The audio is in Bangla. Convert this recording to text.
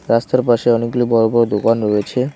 রাস্তার পাশে অনেকগুলো বড় বড় দোকান রয়েছে।